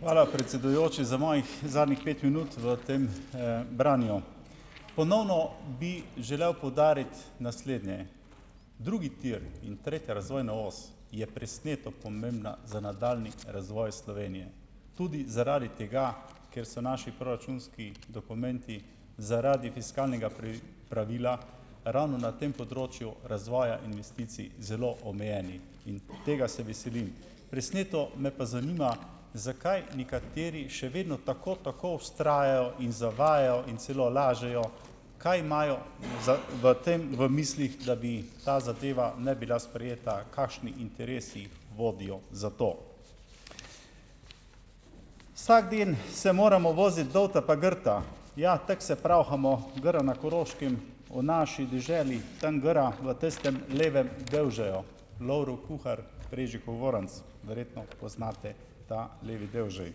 Hvala, predsedujoči, za mojih zadnjih pet minut v tem, branju. Ponovno bi želel poudariti naslednje. Drugi tir in tretja razvojna os je presneto pomembna za nadaljnji razvoj Slovenije. Tudi zaradi tega, ker so naši proračunski dokumenti zaradi fiskalnega pravila ravno na tem področju razvoja investicij zelo omejeni in tega se veselim. Presneto me pa zanima, zakaj nekateri še vedno tako tako vztrajajo in zavajajo in celo lažejo, kaj imajo za v tem v mislih, da bi ta zadeva ne bila sprejeta, kakšni interesi vodijo za to. "Vsak dan se moramo voziti dol pa gorta ja, tako se pravhamo, gre na Koroškem, v naši deželi, tam gora v tistem levem devžeju." Lovro Kuhar Prežihov Voranc. Verjetno poznate ta levi devžej.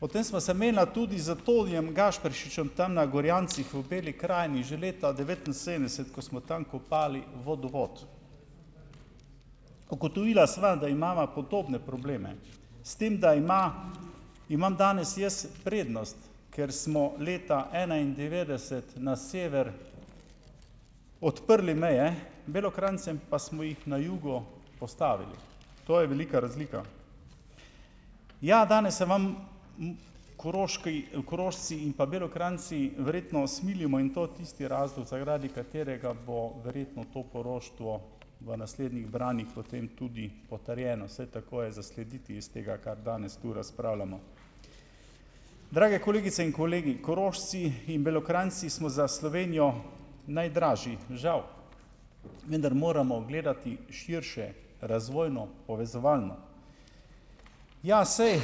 Potem sva se menila tudi z Tonijem Gašperšičem tam na Gorjancih v Beli krajini že leta devetinsedemdeset, ko smo tam kopali vodovod. Ugotovila sva, da imava podobne probleme, s tem, da ima imam danes jaz prednost, ker smo leta enaindevetdeset na sever odprli meje, Belokranjcem pa smo jih na jugu postavili. To je velika razlika. Ja, danes se vam Koroški, Korošci in pa Belokranjci verjetno smilimo in to tisti razlog, zaradi katerega bo verjetno to poroštvo v naslednjih branjih potem tudi potrjeno, vsaj tako je zaslediti iz tega, kar danes tu razpravljamo. Drage kolegice in kolegi, Korošci in Belokranjci smo za Slovenijo najdražji, žal, vendar moramo gledati širše, razvojno, povezovalno. Ja, saj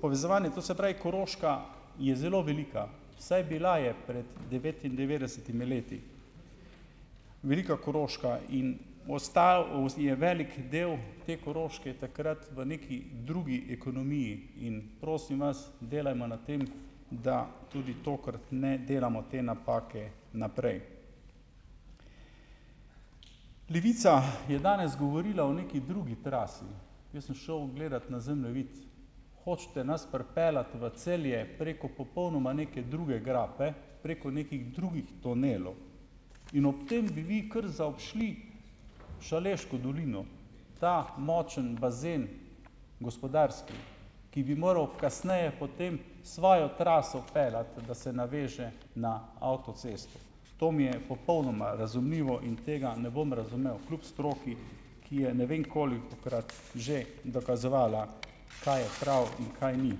povezovanje, to se pravi, Koroška je zelo velika, vsaj bila je pred devetindevetdesetimi leti. Velika Koroška in v ostal je velik del te Koroške takrat v neki drugi ekonomiji, in prosim vas, delajmo na tem, da tudi tokrat ne delamo te napake naprej. Levica je danes govorila o neki drugi trasi. Jaz sem šel gledat na zemljevid. Hočete nas pripeljati v Celje preko popolnoma neke druge grape, preko nekih drugih tunelov. In ob tem bi vi kar zaobšli Šaleško dolino. Ta močen bazen gospodarski, ki bi moral kasneje potem svojo traso peljati, da se naveže na avtocesto. To mi je popolnoma razumljivo in tega ne bom razumel kljub stroki, ki je ne vem kolikokrat že dokazovala, kaj je prav in kaj ni.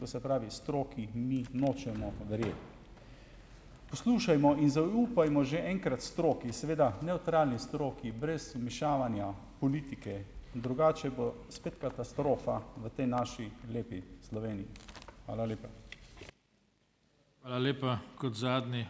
To se pravi stroki mi nočemo verjeti. Poslušajmo in zaupajmo že enkrat stroki, seveda nevtralni stroki brez vmešavanja politike, drugače bo spet katastrofa v tej naši lepi Sloveniji. Hvala lepa.